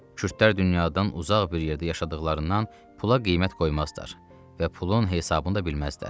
Kürdlər dünyadan uzaq bir yerdə yaşadıqlarından pula qiymət qoymazlar və pulun hesabını da bilməzdilər.